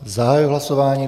Zahajuji hlasování.